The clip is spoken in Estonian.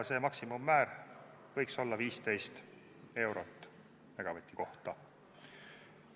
See maksimummäär võiks olla 15 eurot megavati kohta.